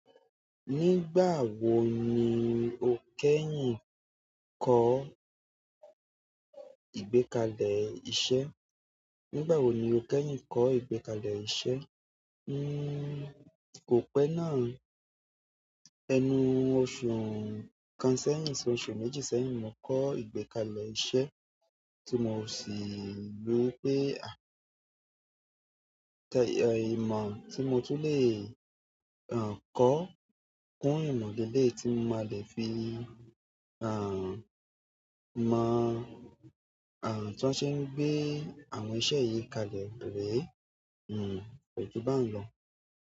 Nígbà wo ni o kẹ́yìn kọ́ ìgbékalẹ̀ iṣẹ́? Nígbà wo ni o kẹ́yìn kọ́ ìgbékalẹ̀ iṣẹ́? Nnn kò pẹ́ náà. Ẹnu ọ̀ṣu kan sẹ́yìn, soṣù méjì sẹ́yìn ni mo kọ́ ìgbékalẹ̀ iṣẹ́ tí mo sì rí i pé à tẹ ẹ̀ ìmọ̀ tí mo tun lè à kọ́ kún ìmọ̀ leleyii tí mo máa lè fi à mọ̀ à tí wọ́n ṣe ń gbé àwọn iṣẹ́ yìí kalẹ̀ rí. Hmmm, ko ju baun lo.